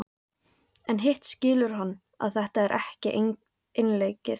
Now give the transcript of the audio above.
En hitt skilur hann að þetta er ekki einleikið.